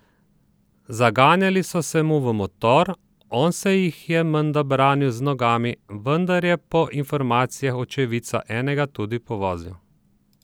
Zaganjali so se mu v motor, on se jih je menda branil z nogami, vendar je po informacijah očividca enega tudi povozil.